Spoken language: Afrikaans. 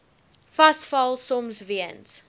vasval soms weens